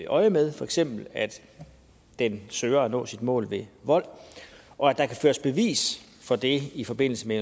øjemed for eksempel at den søger at nå sit mål ved vold og at der kan føres bevis for det i forbindelse med